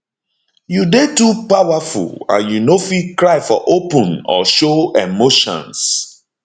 you dey too powerful and you no fit cry for open or show emotions